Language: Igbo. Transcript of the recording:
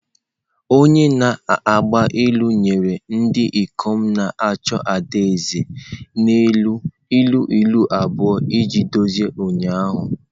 Onye na-agba ilu nyere ndị ikom na-achọ ada eze n'ịlụ ilu ilu abụọ iji dozie ụnyaahụ.